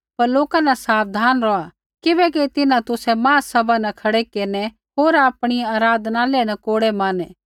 पर लोका न साबधान रौहा किबैकि तिन्हां तुसै महासभा न खड़ै केरनै होर आपणी आराधनालय न कोड़ै मारनै